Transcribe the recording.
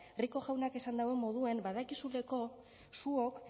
rico jaunak esan dauen moduen badakizuleko zuok